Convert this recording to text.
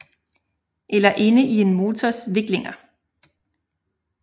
Eller inde i en motors viklinger